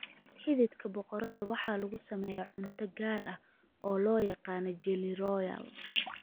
Xididka boqoradda waxaa lagu sameeyaa cunto gaar ah oo loo yaqaan jelly royal.